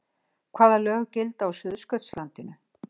Hvaða lög gilda á Suðurskautslandinu?